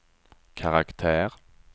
karaktär